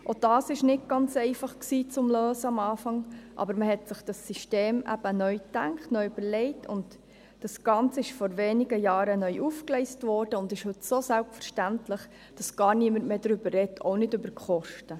Auch dies war am Anfang nicht ganz einfach zu lösen, aber man hat das System neu gedacht und neu überlegt, und das Ganze wurde vor wenigen Jahren neu aufgegleist und ist heute so selbstverständlich geworden, dass niemand mehr darüber spricht, auch nicht über die Kosten.